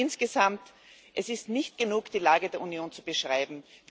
Insgesamt Es ist nicht genug, die Lage der Union zu beschreiben.